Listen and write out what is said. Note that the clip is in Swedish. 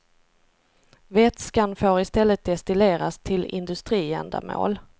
Vätskan får i stället destilleras till industriändamål.